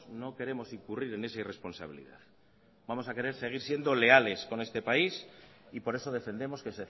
no queremos incurrir en esa irresponsabilidad vamos a querer seguir siendo leales con este país y por eso defendemos que